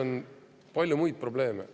On ka palju muid probleeme.